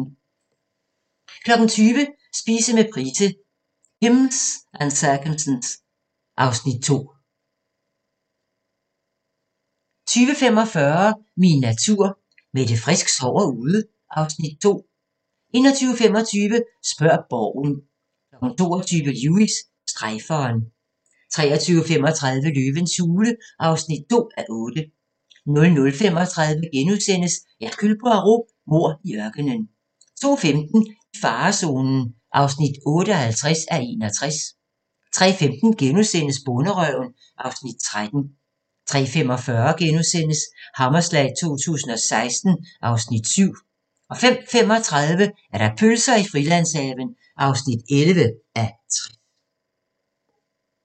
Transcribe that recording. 20:00: Spise med Price – Pimms and circumstance (Afs. 2) 20:45: Min natur – Mette Frisk sover ude (Afs. 2) 21:25: Spørg Borgen 22:00: Lewis: Strejferen 23:35: Løvens hule (2:8) 00:35: Hercule Poirot: Mord i ørkenen * 02:15: I farezonen (58:61) 03:15: Bonderøven (Afs. 13)* 03:45: Hammerslag 2016 (Afs. 7)* 05:35: Pølser i Frilandshaven (11:60)